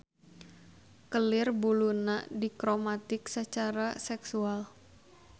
Kelir buluna dikromatik sacara seksual.